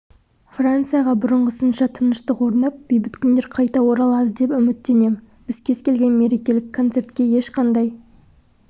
францияға бұрынғысынша тыныштық орнап бейбіт күндер қайта оралады деп үміттенем біз кез келген мерекелік концертке ешқандай